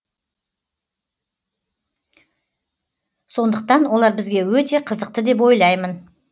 сондықтан олар бізге өте қызықты деп ойлаймын